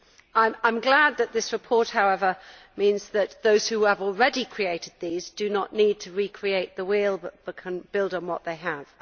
I am glad that this report, however, means that those who have already created these do not need to recreate the wheel but can build on what they have.